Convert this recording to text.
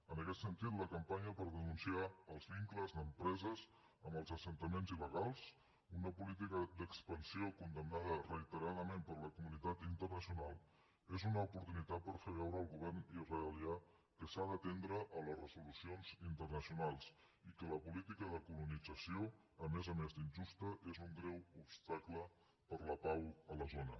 en aquest sentit la campanya per denunciar els vincles d’empreses amb els assentaments il·lítica d’expansió condemnada reiteradament per la comunitat internacional és una oportunitat per fer veure al govern israelià que s’ha d’atendre les resolucions internacionals i que la política de colonització a més a més d’injusta és un greu obstacle per a la pau a la zona